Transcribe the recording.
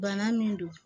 Bana min don